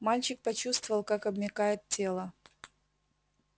мальчик почувствовал как обмякает тело